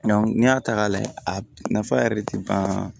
n'i y'a ta k'a layɛ a nafa yɛrɛ de tɛ ban